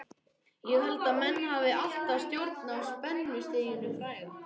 Ég held að menn hafi alltaf stjórn á spennustiginu fræga.